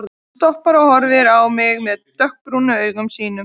Hann stoppar og horfir á mig með dökkbrúnu augunum sínum.